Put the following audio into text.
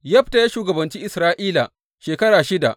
Yefta ya shugabanci Isra’ila shekara shida.